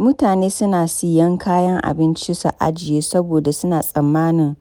Mutane suna siyan kayan abinci, su ajiye, saboda suna tsammanin